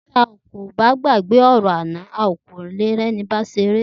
Ti a o ba gbage ọrọ ana, a o ka ri eni baṣera.